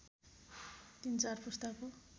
तीन चार पुस्ताको